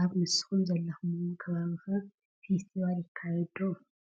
ኣብ ንስኹም ዘለኽምዎ ከባቢ ኸ ፌስቲቫል ይዘጋጆ ዶ?